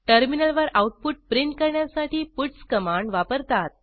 टर्मिनलवर output print करण्यासाठी puts command वापरतात